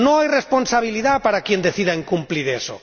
no hay responsabilidad para quien decida incumplir eso.